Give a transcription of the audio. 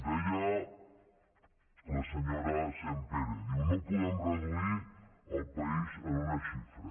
deia la senyora sampere ho diu no podem reduir el país a una xifra